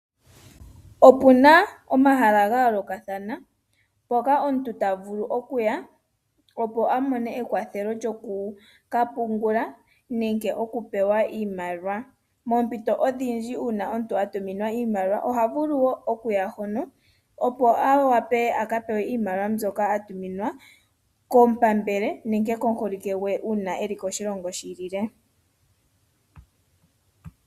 Opuna omahala ga yoolokathana ngoka omuntu ta vulu oku ya, opo amone ekwatjo lyoku ka pungula nenge oku pewa iimaliwa. Poompito odhindji uuna omuntu a tuminwa iimaliwa oha vulu woo oku ya hono, opo a wave aka pewe iimaliwa mbyoka atuminwa komupambele nenge komuholike gwe uuna eli koShilongo shi ilile.